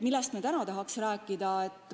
Millest ma täna tahan rääkida?